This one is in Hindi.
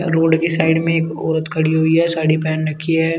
रोड के साइड में एक औरत खड़ी हुई है साड़ी पहन रखी है।